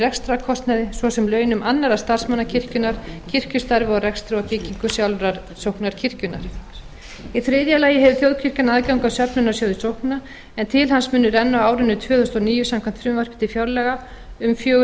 rekstrarkostnaði svo sem launum annarra starfsmanna kirkjunnar kirkjustarfi og rekstri og byggingu sjálfrar sóknarkirkjunnar í þriðja lagi hefur þjóðkirkjan aðgang að jöfnunarsjóði sókna en til hans munu renna á árinu tvö þúsund og níu samkvæmt frumvarpi til fjárlaga um fjögur hundruð